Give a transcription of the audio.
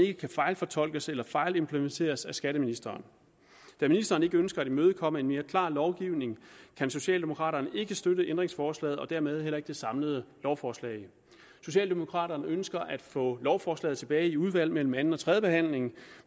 ikke fejlfortolkes eller fejlimplementeres af skatteministeren da ministeren ikke ønsker at imødekomme en mere klar lovgivning kan socialdemokraterne ikke støtte ændringsforslaget og dermed heller ikke det samlede lovforslag socialdemokraterne ønsker at få lovforslaget tilbage i udvalget mellem anden og tredje behandling